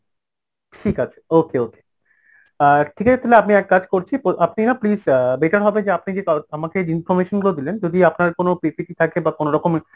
ঠিক আছে okay okay অ্যাঁ ঠিক আছে তাহলে আপনি এক কাজ করছি, আপনি না please অ্যাঁ better হবে যে আপনি যে আমাকে information গুলো দিলেন যদি আপনার কোন PPT থাকে বা কোনরকম